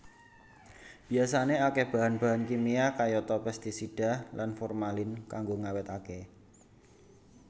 Biyasané akéh bahan bahan kimia kayata pestisida lan formalin kanggo ngawétaké